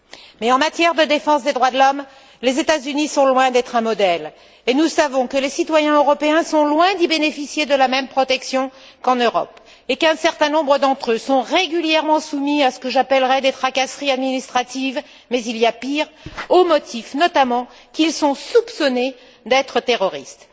Mais en matière de défense des droits de l'homme, les États Unis sont loin d'être un modèle, et nous savons que les citoyens européens sont loin d'y bénéficier de la même protection qu'en Europe et qu'un certain nombre d'entre eux sont régulièrement soumis à ce que j'appellerais des tracasseries administratives mais il y a pire au motif, notamment, qu'ils sont soupçonnés d'être terroristes.